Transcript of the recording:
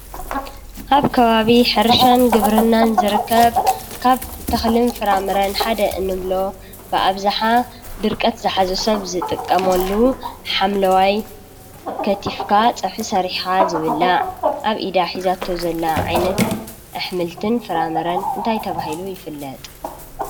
አብ ከባቢ ሕርሻን ግብርናን ዝርከብ ካብ ተክልን ፍራምረን ሓደ እንብሎ ብአብዝሓ ድርቀት ዝሓዞ ሰብ ዝጥቀምሉ ሓምለዋይ ከቲፍካ ፀብሒ ሰሪሕካ ዝብላዕ አብ ኢዳ ሒዛቶ ዘላ ዓይነት አሕምልትን ፍራምረን እንታይ ተባሂሉ ይፍለጥ?